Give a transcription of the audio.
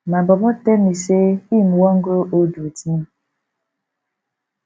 my bobo tell me sey im wan grow old wit me